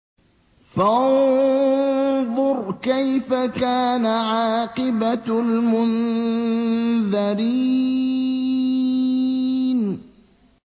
فَانظُرْ كَيْفَ كَانَ عَاقِبَةُ الْمُنذَرِينَ